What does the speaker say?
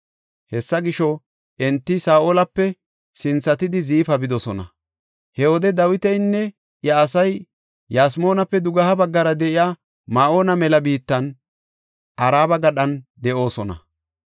Hessa gisho, enti Saa7olape sinthatidi Ziifa bidosona. He wode Dawitinne iya asay Yasmoonape dugeha baggara de7iya Ma7oona mela biittan Araba gadhan de7oosona.